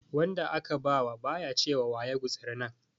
Wanda aka ba wa ba ya ce wa wa ya gutsuri nan.